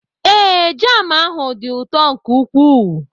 Ee, jam ahụ dị ụtọ nke ukwuu.